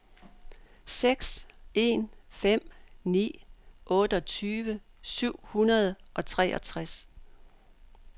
seks en fem ni otteogtyve syv hundrede og treogtres